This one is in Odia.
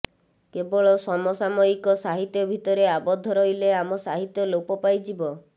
କେବଳ ସମସାମୟିକ ସାହିତ୍ୟ ଭିତରେ ଆବଦ୍ଧ ରହିଲେ ଆମ ସାହିତ୍ୟ ଲୋପ ପାଇଯିବ